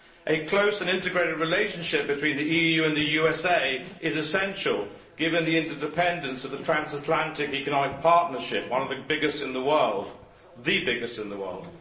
A close and integrated relationship between the EU and the US is essential, given the interdependence of the transatlantic economic partnership, the biggest in the world.